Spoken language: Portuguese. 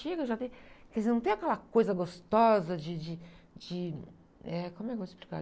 Chega, já tem... Quer dizer, não tem aquela coisa gostosa de, de, de... Eh, como é que eu vou explicar?